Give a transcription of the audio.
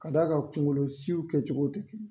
K'a d'a kan kungolo siw kɛ cogo tɛ kelen